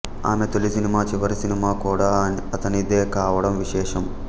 ఆమె తొలి సినిమా చివరి సినిమా కూడా అతనిదే కావడం విశేషం